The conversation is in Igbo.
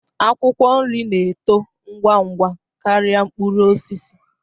Akwụkwọ nri na-eto ngwa ngwa karịa mkpụrụ osisi